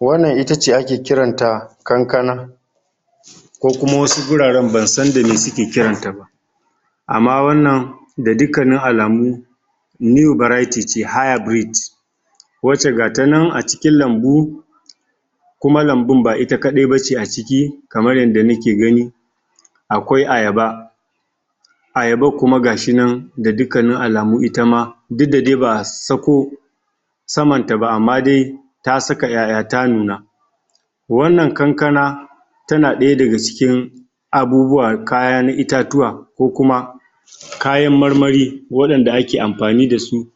wannan itace ake kiranta kankana ko kuma wasu guraren ban san dame suke kiranta ba amma wannan da dukkannin alamu new variety ce higher breeds wacce ta nan a cikin lanbu kuma lanbun ba ita kadai bace aciki kaman yanda nake gani akwai ayaba ayaban kuma gashi nan ga dukkannin alamu itama duk da dai ba'a sako samanta ba amma de ta saka ƴaƴa ta nuna wannan kankana tana daya daga cikin abubuwa kaya na itatuwa ko kuma kayan marmari wadanda ake amfani dasu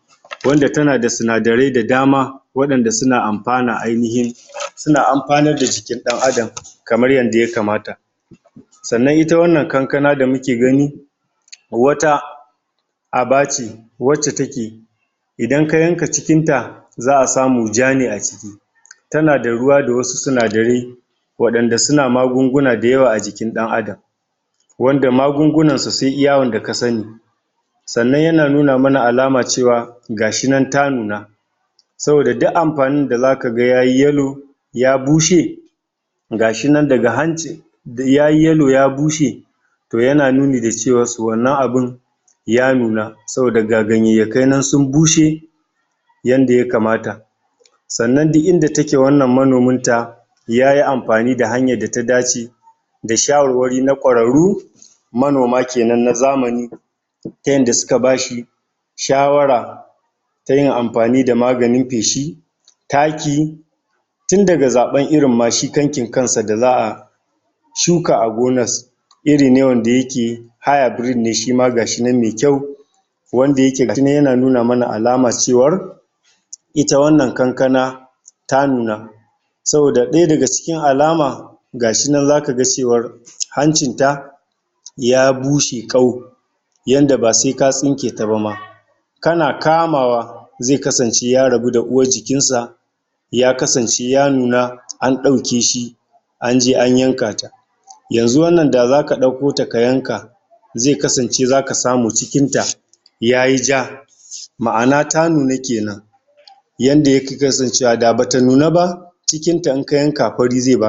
wanda tanada sinadarai da dama wadanda suna amfani ainihi suna amfanar da jikin ɗan Adam kamar yanda ya kamata sa'anan ita wannan kankana da muke gani wata aba ce wacce take idan ka yanka cikinta za'a samu ja ne aciki tanada ruwa da wasu sinadarai wadanda suna magunguna dayawa a jikin ɗan Adan wandaa magugunarsu sai iya wanda kasani sa'anan yana nuna mana alama cewa gashi nan ta nuna saboda duk amfanin da zakaga yayi yellow ya bushe gashi nan daga hancin yayi (yellow )ya bushe yana nuni dacewa (su )wannan abun ya nuna saboda ga gayayyakai nan sun bushe yanda ya kamata sa'anan duk inda take wannan manominta yayi amfani da hanyar data dace da shawarwari na ƙwararru manoma kenan na zamani yanda suka bashi shawara tayin amfani da maganin feshi taki tundaga zaban irin ma shi kankin kansa za'a shuka a gonas iri ne wanda yake higher breed ne shima gashinan me kyau wanda yake tun yana nuna mana alamar cewan ita wannan kankana ta nuna saboda daya daga cikin alama gashi nan zakaga cewar hancinta ya bushe kau yanda ba sai ka tsinketaba kana kamawa ze kasance ya rabu da uwar jikinsa ya kasance ya nuna an daukeshi anje an yanka ta yanzu wannan da zaka daukota ka yanka ze kasance zaka samu cikinta yayi jaa ma'ana ta nuna kenan yanda ya ki kasancewa bata nuna ba cikinta in ka yanka fari ze baka